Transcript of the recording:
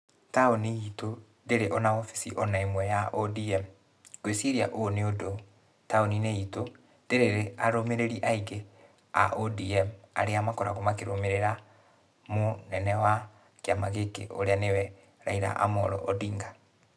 Taũni itũ, ndĩrĩ ona obici ona ĩmwe ya ODM. Ngwĩciria ũũ nĩ ũndũ taũnĩ-inĩ itũ, ndĩrĩ arũmĩrĩri aingĩ a ODM, arĩa makoragũo makĩrũmĩrĩra mũnene wa kĩama gĩkĩ, ũrĩa nĩwe Raila Amollo Odinga